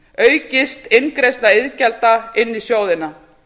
aukist inngreiðsla iðgjalda inn í sjóðina